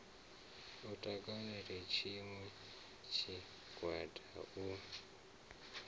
u takalela tshiṋwe tshigwada u